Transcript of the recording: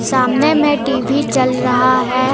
सामने में टी_वी चल रहा है।